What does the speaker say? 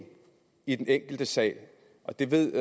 i den enkelte sag og det ved